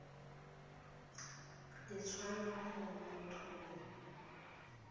le tswang go motho yo